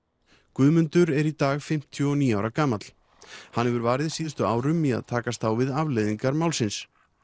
Guðmundur er í dag fimmtíu og níu ára gamall hann hefur varið síðustu árum í að takast á við afleiðingar málsins